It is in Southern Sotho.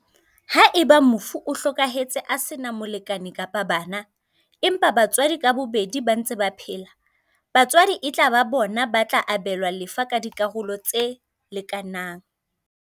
Haeba mofu o hlokahetse a sena molekane kapa bana, empa batswadi ka bobedi ba ntse ba phela, batswadi e tla ba bona ba tla abelwa lefa ka dikarolo tse leka nang.